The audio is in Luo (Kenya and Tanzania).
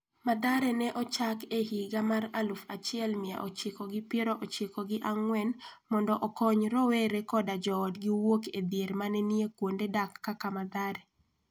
Mathare ne ochak e higa mar aluf achiel mia ochiko gi piero ochiko gi ang'wen mondo okony rowere koda joodgi wuok e dhier ma ne nie kuonde dak kaka Mathare.